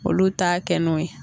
Olu t'a kɛ n'o ye